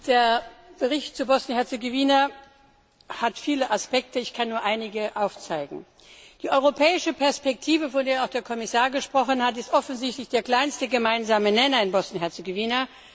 Der Bericht zu Bosnien und Herzegowina hat viele Aspekte, ich kann nur einige aufzeigen. Die europäische Perspektive, von der auch der Kommissar gesprochen hat, ist offensichtlich der kleinste gemeinsame Nenner in Bosnien und Herzegowina.